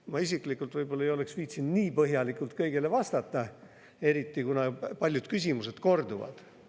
Ma isiklikult võib-olla ei oleks viitsinud nii põhjalikult kõigile vastata, eriti kuna paljud küsimused kordusid.